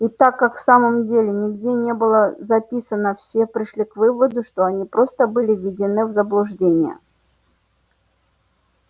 и так как в самом деле нигде не было записано все пришли к выводу что они просто были введены в заблуждение